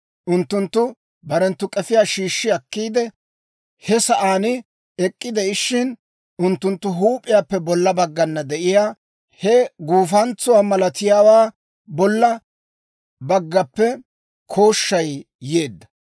Unttunttu barenttu k'efiyaa shiishshi akkiide, he sa'aan ek'k'ide'ishshin, unttunttu huup'iyaappe bolla baggana de'iyaa he guufantsuwaa malatiyaawaa bolla baggappe kooshshay yeedda.